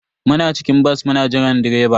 Muna cikin bas muna jiran direba.